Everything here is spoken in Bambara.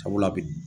Sabula bi